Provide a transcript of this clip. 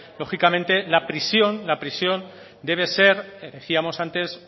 lógicamente la prisión la prisión debe de ser decíamos antes